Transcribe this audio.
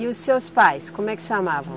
E os seus pais, como é que chamavam?